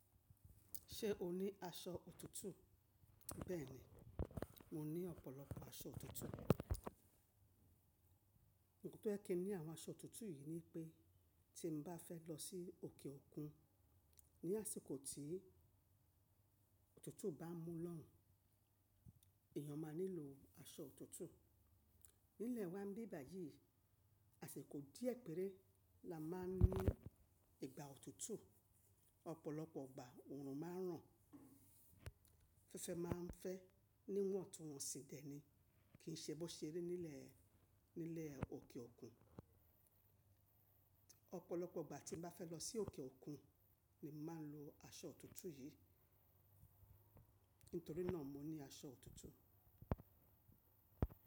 Ṣé o ní aṣọ òtútù? Bẹ́ẹ̀ni, mo ní ọ̀pọ̀lọpọ̀ aṣọ òtútù. Nítorí kí ẹ ní àwọn aṣọ òtútù yì ni pé tí mo bá fẹ́ lọ sí òkè òkun ní àsìkò tí òtútù bá mú lọ́hùn, èyàn máa nílò aṣọ òtútù. Nílẹ̀ wa bi bàyì àsìkò díẹ̀ péré la máa ń ní ìgbà òtútù. Ọ̀pọ̀lọpọ̀ ọgbà òòrùn máa ń ràn, afẹ́fẹ́ máa ń fẹ́ níwọ̀n tun wọn sí dẹ́ni kì ṣe bó ṣe ri nílẹ̀, nílẹ̀ òkè òkun. Ọ̀pọ̀lọpọ̀ igbà tí mo bá fẹ́ lọ sí òkè òkun ni màá lo aṣọ òtútù yí. Nítorí náà mo ní aṣọ òtútù.